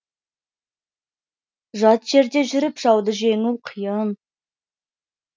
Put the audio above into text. жат жерде жүріп жауды жеңу қиын